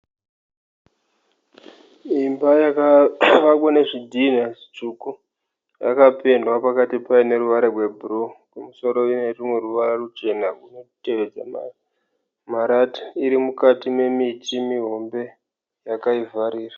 Imba yakavakwa nezvidhina zvitsvuku, yakapendwa pakati payo neruvara rwebhuruu. Kumusoro ine rumwe ruvara ruchena runotevedza marata. Iri mukati nemiti mihombe yakaivharira.